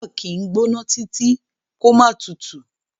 Ààrò kì í gbóná títí kó má tutù.